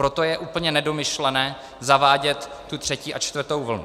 Proto je úplně nedomyšlené zavádět tu třetí a čtvrtou vlnu.